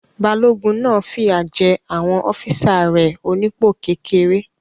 Balógun náà fìyà jé àwọn ọ́físà rẹ̀ onípò kékeré